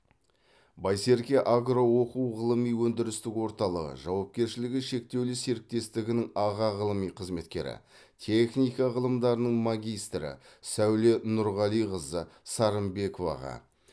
байсерке агро оқу ғылыми өндірістік орталығы жауапкершілігі шектеулі серіктестігінің аға ғылыми қызметкері техника ғылымдарының магистрі сәуле нұрғалиқызы сарымбековаға